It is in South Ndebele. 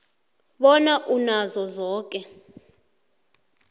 bona unazo zoke